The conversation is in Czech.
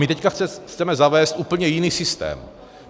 My teď chceme zavést úplně jiný systém.